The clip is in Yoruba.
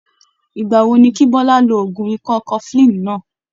Ìgbà wo ni kí Bọlá lo oògùn ikọ́ cofflin náà?